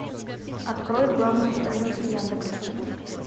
открой главную страницу яндекса